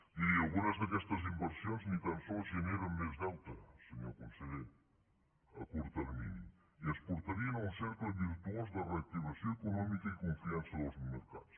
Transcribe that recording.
miri algunes d’aquestes inversions ni tan sols generen més deute senyor conseller a curt termini i ens portarien a un cercle virtuós de reactivació econòmica i confiança dels mercats